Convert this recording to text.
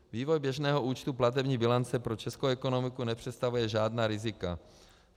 Vývoj běžného účtu platební bilance pro českou ekonomiku nepředstavuje žádná rizika.